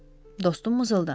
Dostum mızıldandı.